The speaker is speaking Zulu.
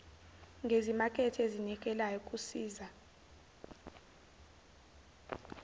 ngezimakethe ezinikelayo kusiza